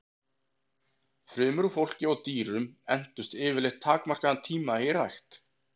Frumur úr fólki og dýrum entust yfirleitt takmarkaðan tíma í rækt.